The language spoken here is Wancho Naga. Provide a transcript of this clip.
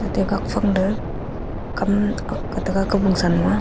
atte gak phang da kam akga taga kabung sa nu aa.